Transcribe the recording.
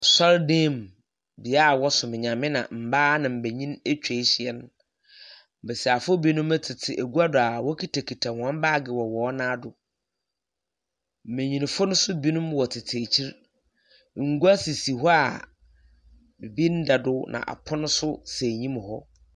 Asɔre dan mu, bea a wɔsom Nyame na mbaa na mbenyin atwa ehyia no. Mbasiafo binom tsetse egua do a wokitakita hɔn baage wɔ hɔn nan do. Mmenyinfo no nso binom wɔtsetse ekyir. Ngua sisi hɔ a biribi nda do na apono nso si enyim hɔ.